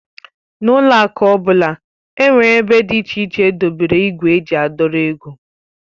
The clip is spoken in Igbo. N'ụlọ akụ ọbụla nwere ébé dị iche iche edobere igwe eji a dọrọ ego.